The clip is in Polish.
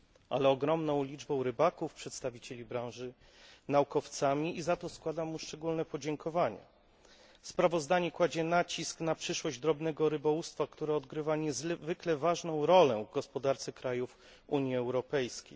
ale ogromną liczbą rybaków, przedstawicieli branży, z naukowcami, i za to składam mu szczególne podziękowanie. Sprawozdanie kładzie nacisk na przyszłość drobnego rybołówstwa, które odgrywa niezwykle ważną rolę w gospodarce krajów Unii Europejskiej.